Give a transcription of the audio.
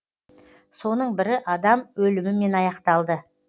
соның бірі адам өлімімен аяқталды